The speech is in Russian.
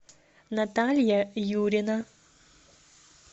наталья юрина